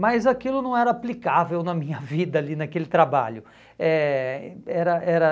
Mas aquilo não era aplicável na minha vida ali naquele trabalho. Eh era era